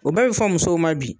O bɛ be fɔ musow ma bi.